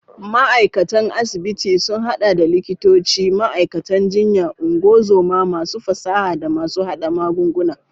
Ma'aikatan asibiti sun hada da likitoci, ma'aikatan jinya, ungozoma, masu fasaha, da masu hada magunguna.